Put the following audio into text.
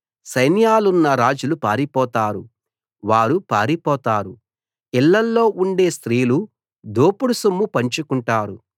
సైన్యాలున్న రాజులు పారిపోతారు వారు పారిపోతారు ఇళ్ళలో ఉండే స్త్రీలు దోపుడు సొమ్ము పంచుకుంటారు